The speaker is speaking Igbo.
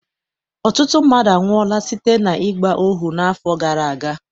Ọtụtụ mmadụ anwụọla site n'ịgba ohu n'afọ gara aga.